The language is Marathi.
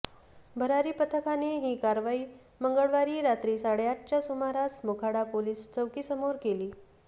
भरारी पथकाने ही कारवाई मंगळवारी रात्री साडेआठच्या सुमारास मोखाडा पोलीस चौकीसमोर केली